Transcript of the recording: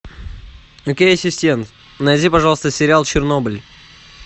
окей ассистент найди пожалуйста сериал чернобыль